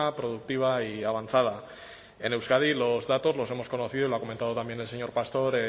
productiva y avanzada en euskadi los datos los hemos conocido y lo ha comentado también el señor pastor